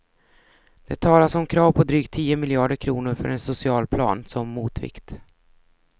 Det talas om krav på drygt tio miljarder kronor för en socialplan, som motvikt.